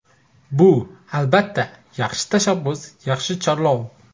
Bu, albatta, yaxshi tashabbus, yaxshi chorlov.